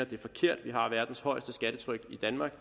det er forkert vi har verdens højeste skattetryk i danmark